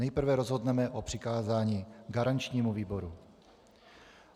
Nejprve rozhodneme o přikázání garančnímu výboru.